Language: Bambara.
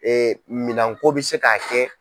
Ee minɛnko bɛ se k'a kɛ.